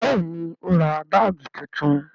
Bẹẹni, ó ra báàgì tuntun